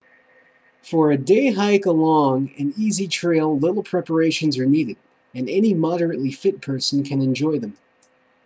for a day hike along an easy trail little preparations are needed and any moderately fit person can enjoy them